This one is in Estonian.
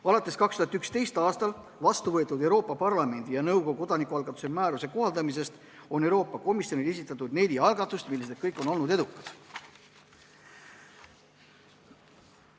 Alates 2011. aastal vastu võetud Euroopa Parlamendi ja nõukogu kodanikualgatuse määruse kohaldamisest on Euroopa Komisjonile esitatud neli algatust, mis kõik on olnud edukad.